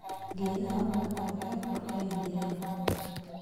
Geedaha ubaxa waxay qurxiyaan deegaankooda.